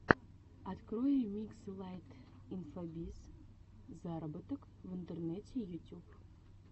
открой ремикс элайт инфобиз зароботок в интернете ютюб